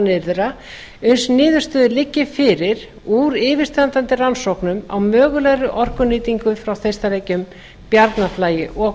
nyrðra uns niðurstöður liggi fyrir úr yfirstandandi rannsóknum á mögulegri orkunýtingu frá þeistareykjum bjarnarflagi og